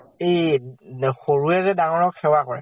এই সৰুয়ে যে ডাঙৰক সেৱা কৰে,